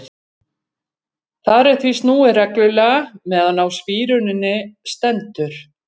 Þar er því snúið reglulega meðan á spíruninni stendur.